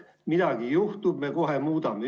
Midagi juhtub ja me kohe muudame.